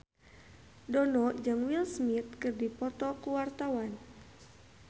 Dono jeung Will Smith keur dipoto ku wartawan